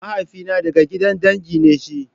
Mahaifina ɗaga gidan dangi ne shi.